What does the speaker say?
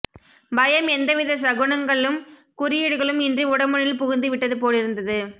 பயம் எந்த வித சகுன்ங்களும் குறியீடுகளும் இன்றி உடம்பினுள் புகுந்து விட்ட்து போலிருந்தது